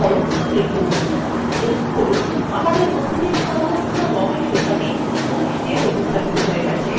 লক্ষ্য করুন আমাদের নথিতে সর্বত্র ramesh লেখাটি manish দিয়ে প্রতিস্থাপিত হয়ে গেছে